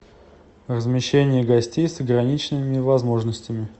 размещение гостей с ограниченными возможностями